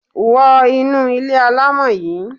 Wo inú ilé alámọ̀ yí!